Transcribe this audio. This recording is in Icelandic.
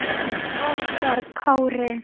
Okkar Kári.